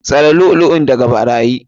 Tsare lu'ulu'un daga ɓarayi.